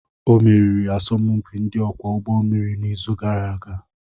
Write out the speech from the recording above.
Ọ meriri asọmpi ndị ọkwọ ụgbọ mmiri n'izu gara aga